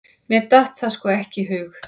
Mér datt það sko ekki í hug!